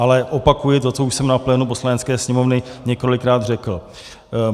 Ale opakuji to, co už jsem na plénu Poslanecké sněmovny několikrát řekl.